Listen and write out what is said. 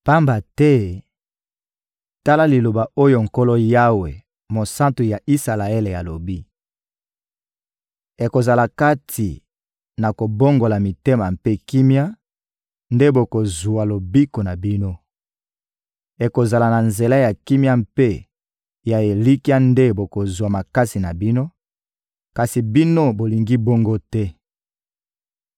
Pamba te, tala liloba oyo Nkolo Yawe, Mosantu ya Isalaele, alobi: «Ekozala kati na kobongola mitema mpe kimia nde bokozwa lobiko na bino; ekozala na nzela ya kimia mpe ya elikya nde bokozwa makasi na bino; kasi bino, bolingi bongo te.